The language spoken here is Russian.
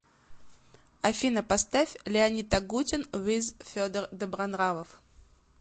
афина поставь леонид агутин виз федор добронравов